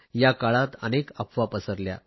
या काळात अनेक अफवा पसरल्या